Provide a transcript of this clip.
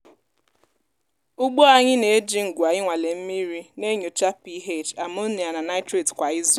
ugbo anyị na-eji ngwa inwale mmiri na-enyocha ph ammonia na nitrite kwa izu.